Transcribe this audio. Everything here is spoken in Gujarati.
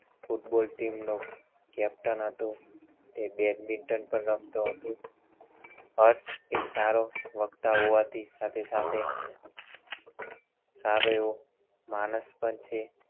football team નો captain હતો તે badminton પણ રમતો હતો હર્ષ એક સારો વક્તા હોવા થી સાથે સાથે સારો એવો માણસ પણ છે